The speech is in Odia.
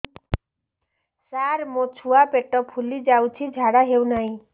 ସାର ମୋ ଛୁଆ ପେଟ ଫୁଲି ଯାଉଛି ଝାଡ଼ା ହେଉନାହିଁ